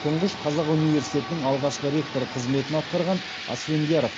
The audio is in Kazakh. тұңғыш қазақ университетінің алғашқы ректор қызметін атқарған асфендияров